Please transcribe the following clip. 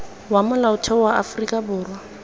wa molaotheo wa aforika borwa